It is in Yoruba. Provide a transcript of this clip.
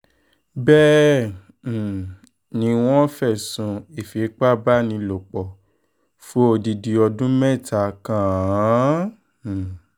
bẹ́ẹ̀ um ni wọ́n fẹ̀sùn ìfipábánilòpọ̀ fún odidi ọdún mẹ́ta kàn án um